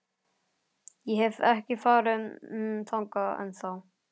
Ég hef ekki farið þangað ennþá.